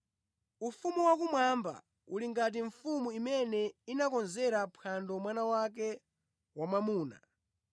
“Ufumu wakumwamba uli ngati mfumu imene inakonzera phwando mwana wake wamwamuna.